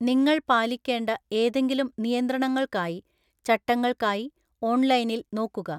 നിങ്ങൾ പാലിക്കേണ്ട ഏതെങ്കിലും നിയന്ത്രണങ്ങൾക്കായി (ചട്ടങ്ങൾക്കായി) ഓൺലൈനിൽ നോക്കുക.